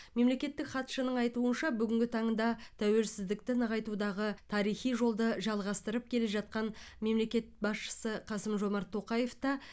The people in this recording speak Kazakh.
мемлекеттік хатшының айтуынша бүгінгі таңда тәуелсіздікті нығайтудағы тарихи жолды жалғастырып келе жатқан мемлекет басшысы қасым жомарт тоқаев та